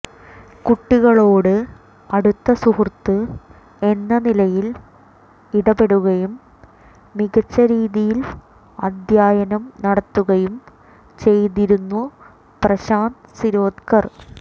കുട്ടികളോട് അടുത്ത സുഹൃത്ത് എന്ന നിലയിൽ ഇടപെടുകയും മികച്ച രീതിയിൽ അധ്യയനം നടത്തുകയും ചെയ്തിരുന്നു പ്രശാന്ത് ശിരോദ്കർ